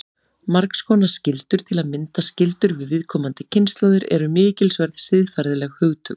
Margs konar skyldur, til að mynda skyldur við komandi kynslóðir, eru mikilsverð siðferðileg hugtök.